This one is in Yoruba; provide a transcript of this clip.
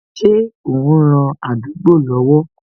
Ṣé o n ran àdúgbò lọ́wọ́